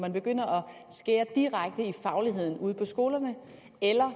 man begynder at skære direkte i fagligheden ude på skolerne eller